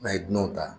N'a ye dunanw ta